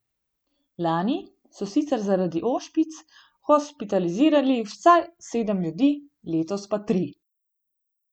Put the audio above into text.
Lani so sicer zaradi ošpic hospitalizirali vsaj sedem ljudi, letos pa tri.